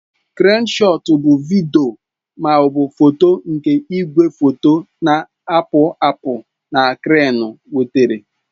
Kreenụ shọọtụ bụ vidiyo ma ọ bụ foto nke igwefoto na-akpụ akpụ na kreenụ weghaara.